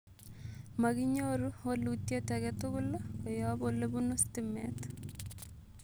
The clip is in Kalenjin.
Makinyoru wolutyet agetugul koyop olepunu stimeet